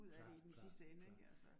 Klart klart klart